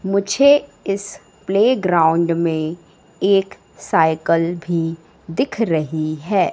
मुझे इस प्लेग्राउंड में एक साइकल भी दिख रही है।